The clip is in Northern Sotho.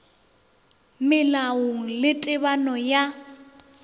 melaong ye le tebano ya